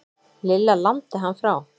Lilla lamdi hann frá.